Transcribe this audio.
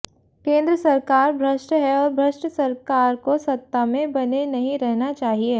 केंद्र सरकार भ्रष्ट है और भ्रष्ट सरकार को सत्ता में बने नहीं रहना चाहिए